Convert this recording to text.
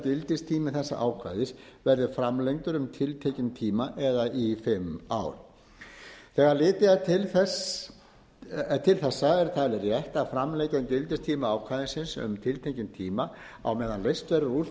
gildistími þessa ákvæðis verði framlengdur um tiltekinn tíma eða í fimm ár þegar litið er til þessa er talið rétt að framlengja gildistíma ákvæðisins um tiltekinn tíma á meðan leyst verður úr þeim